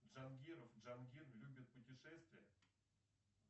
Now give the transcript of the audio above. джангиров джангир любит путешествия